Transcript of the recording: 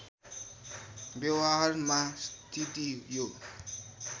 व्यवहारमा स्थिति यो